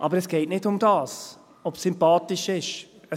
Aber es geht nicht darum, ob es sympathisch ist.